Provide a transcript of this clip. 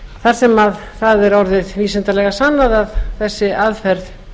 þar sem það er orðið vísindalega sannað að þessi aðferð